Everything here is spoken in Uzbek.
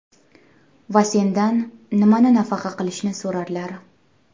Va sendan nimani nafaqa qilishni so‘rarlar.